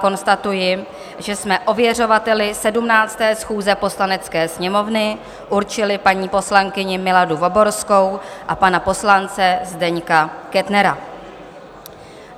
Konstatuji, že jsme ověřovateli 17. schůze Poslanecké sněmovny určili paní poslankyni Miladu Voborskou a pana poslance Zdeňka Kettnera.